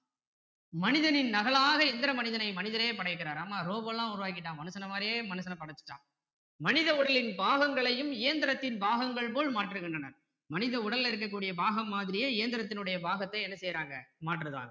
மனிதனின் நகலாக எந்திர மனிதனை மனிதரே படைக்கிறார் ஆமா robo லாம் உருவாக்கிட்டான் மனுசன மாதிரியே மனுசனை படைச்சிட்டான் மனித உடலின் பாகங்களையும் இயந்திரத்தின் பாகங்கள் போல் மாற்றுகின்றன மனித உடலில இருக்கக் கூடிய பாகம் மாதிரியே இயந்திரத்தினுடைய பாகத்தை என்ன செய்றாங்க மாற்றுறாங்க